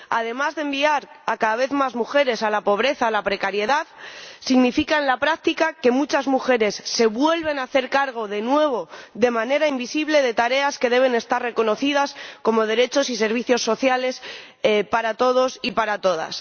Además de enviar a cada vez más mujeres a la pobreza, la precariedad significa en la práctica que muchas mujeres se vuelven a hacer cargo de nuevo de manera invisible de tareas que deben estar reconocidas como derechos y servicios sociales para todos y para todas.